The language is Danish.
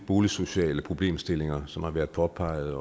boligsociale problemstillinger som har været påpeget